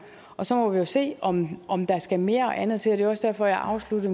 og så må vi jo se om om der skal mere og andet til det var også derfor jeg afsluttede